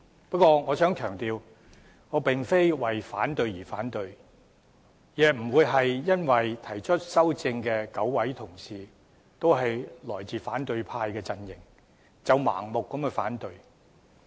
不過，我想強調我並非為反對而反對，亦非因為提出修正案的9位同事均來自反對派陣營，便盲目反對。